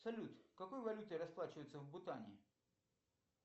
салют какой валютой расплачиваются в бутане